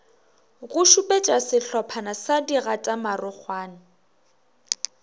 go šupetša sehlophana sa digatamarokgwana